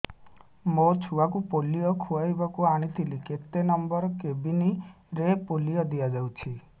ମୋର ଛୁଆକୁ ପୋଲିଓ ଖୁଆଇବାକୁ ଆଣିଥିଲି କେତେ ନମ୍ବର କେବିନ ରେ ପୋଲିଓ ଦିଆଯାଉଛି